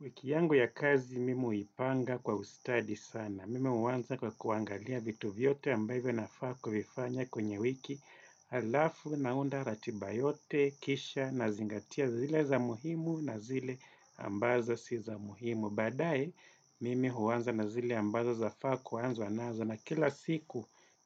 Wiki yangu ya kazi, mimi huipanga kwa ustadi sana. Mimi huanza kwa kuangalia vitu vyote ambavyo nafaa kuvifanya kwenye wiki. Halafu naunda ratiba yote, kisha nazingatia zile za muhimu na zile ambazo si za muhimu. Baadaye, mimi huanza na zile ambazo zafaa kuanzwa nazo, na kila siku.